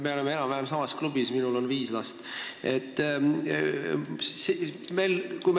Me oleme enam-vähem samas klubis: minul on viis last.